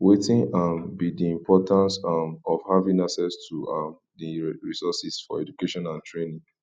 wetin um be di importance um of having access to um di resources for education and training